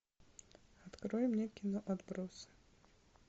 открой мне кино отбросы